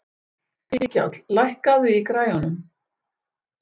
Mikjáll, lækkaðu í græjunum.